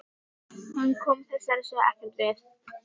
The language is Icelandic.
Hann kom þessari sögu ekkert við.